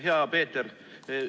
Hea Peeter!